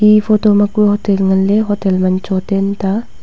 eye photo ma hotel ngan ley hotel chotten ta.